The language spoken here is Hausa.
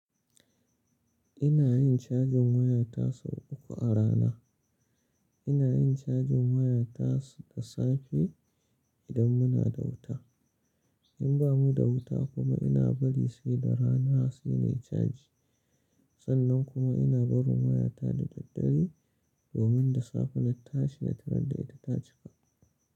Ina yin cajin wayata sau uku a rana. Ina yin cajin wayata da safe idan muna da wuta. In ba mu da wuta kuma ina bari sai da rana sai nayi caji. Sannan kuma ina barin wayata da daddare domin da safe na tashi na tarar da ita ta cika.